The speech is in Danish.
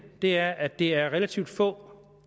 er at det er relativt få